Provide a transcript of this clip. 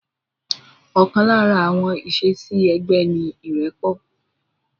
Ọ̀kan lára àwọn ìṣesí ẹgbẹ́ ni irẹpọ̀